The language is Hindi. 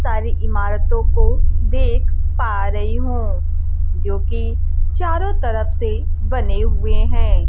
सारी इमारतों को देख पा रही हूं जो कि चारों तरफ से बने हुए हैं।